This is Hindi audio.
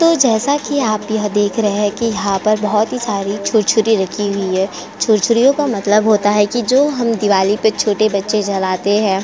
तो जैसा कि आप यह देख रहे हैं कि यहाँ पर बहोत ही सारी छुरछुरी रखी हुई हैं। छुरछुरियों का मतलब होता है कि जो हम दिवाली पे छोटे बच्चे जलाते हैं।